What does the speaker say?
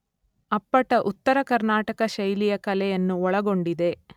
ಅಪ್ಪಟ ಉತ್ತರ ಕರ್ನಾಟಕ ಶೈಲಿಯ ಕಲೆಯನ್ನು ಒಳಗೊಂಡಿದೆ.